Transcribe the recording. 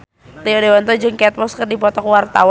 Rio Dewanto jeung Kate Moss keur dipoto ku wartawan